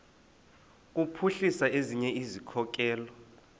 kuphuhlisa ezinye izikhokelo